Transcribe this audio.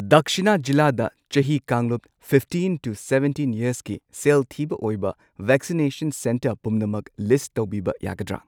ꯗꯛꯁꯤꯅꯥ ꯖꯤꯂꯥꯗ ꯆꯍꯤ ꯀꯥꯡꯂꯨꯞ ꯐꯤꯐꯇꯤꯟ ꯇꯨ ꯁꯚꯦꯟꯇꯤꯟ ꯌꯔꯁꯀꯤ ꯁꯦꯜ ꯊꯤꯕ ꯑꯣꯏꯕ ꯚꯦꯛꯁꯤꯅꯦꯁꯟ ꯁꯦꯟꯇꯔ ꯄꯨꯝꯅꯃꯛ ꯂꯤꯁꯠ ꯇꯧꯕꯤꯕ ꯌꯥꯒꯗ꯭ꯔꯥ?